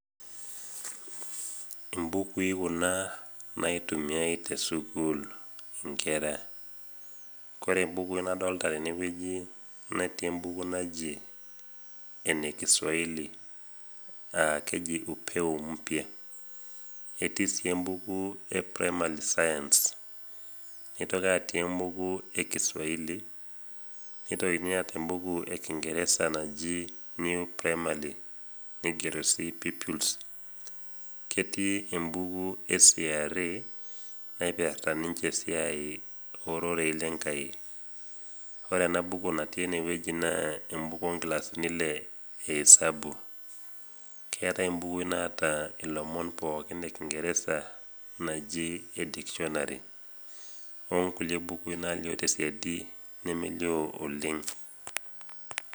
Imbukui Kuna naitumiai te sukuul inkera. Kore imbukui nadolita teinewueji netii embuku naji ene kiswahili naa keji upeo mpya . Etii sii embuku naji primary science. Neitoki atii embuku e kiswahili, neitokini aatau embuku e kingereza naji new primary neigero sii pupils, ketii embuku e CRE naipirita ninche esiai o rorei le enkai. Ore e ana buku natii ene wueji naa embuku o ingilasini Ile e hisabu. Keatai imbukui naata ilomon pooki le kingereza naji endikshonari, o nkulie bukui naalio te siadi nemelio oleng'.